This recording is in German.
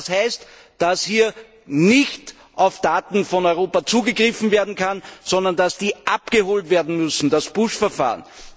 Das heißt, dass hier nicht auf europäische Daten zugegriffen werden kann, sondern dass sie abgeholt werden müssen das Push Verfahren.